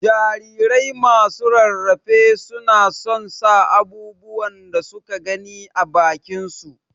jarirai masu rarafe su na son sa abubuwan da suka gani ã bakin su.